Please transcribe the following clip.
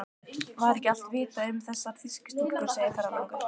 Var ekki allt vitað um þessar þýsku stúlkur, segir ferðalangur.